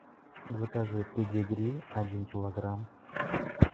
закажи педигри один килограмм